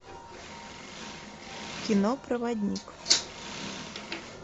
кино проводник